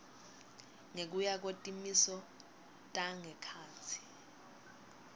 ngekuya kwetimiso tangekhatsi